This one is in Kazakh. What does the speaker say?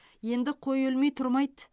енді қой өлмей тұрмайды